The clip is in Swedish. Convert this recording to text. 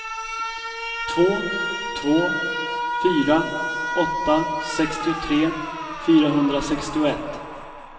två två fyra åtta sextiotre fyrahundrasextioett